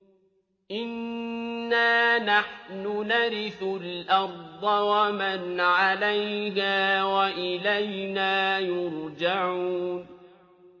إِنَّا نَحْنُ نَرِثُ الْأَرْضَ وَمَنْ عَلَيْهَا وَإِلَيْنَا يُرْجَعُونَ